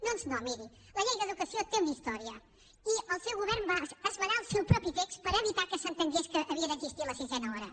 doncs no miri la llei d’educació té una història i el seu govern va esmenar el seu propi text per evitar que s’entengués que havia d’existir la sisena hora